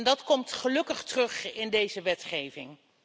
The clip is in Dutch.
Dat komt gelukkig terug in deze wetgeving.